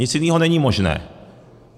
Nic jiného není možné.